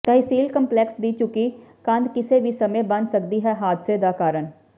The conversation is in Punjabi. ਤਹਿਸੀਲ ਕੰਪਲੈਕਸ ਦੀ ਝੁਕੀ ਕੰਧ ਕਿਸੇ ਵੀ ਸਮੇਂ ਬਣ ਸਕਦੀ ਹੈ ਹਾਦਸੇ ਦਾ ਕਾਰਨ